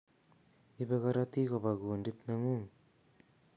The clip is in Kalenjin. Ibee korotik koba kundit neng'ung'